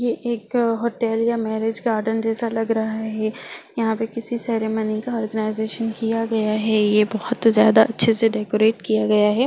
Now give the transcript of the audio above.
ये एक होटल या मेरेज गार्डन जैसा लग रहा है यहाँ पर किसी सेरेमनी का आर्गेनाइजेशन किया गया है ये बोहोत ज्यादा अच्छे से डेकोरेट किया गया है।